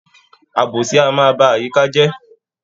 Àbòsí a máa ba àyíká je